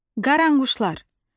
Qaranquşlar.